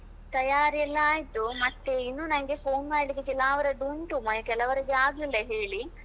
ತಯಾರಿ ಎಲ್ಲಾ ಆಯ್ತು, ಮತ್ತೆ ಇನ್ನು ನಂಗೆ phone ಮಾಡ್ಲಿಕ್ಕೆ ಕೆಲವರದ್ದು ಉಂಟು ಕೆಲವರದ್ದೆ ಆಗ್ಲಿಲ್ಲಾ ಹೇಳಿ.